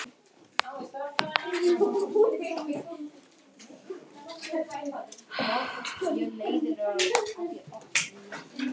Hann yrði að hætta í skólanum!